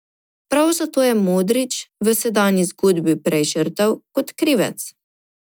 Prav zato je Modrić v sedanji zgodbi prej žrtev kot krivec.